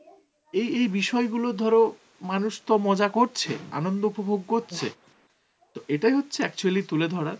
এই এই বিষয়গুলো ধরো মানুষ তো মজা করছে, আনন্দ উপভোগ করছে তো এটাই হচ্ছে actually তুলে ধরার